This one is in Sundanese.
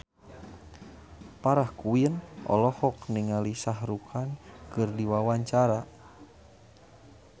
Farah Quinn olohok ningali Shah Rukh Khan keur diwawancara